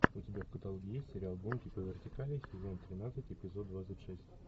у тебя в каталоге есть сериал гонки по вертикали сезон тринадцать эпизод двадцать шесть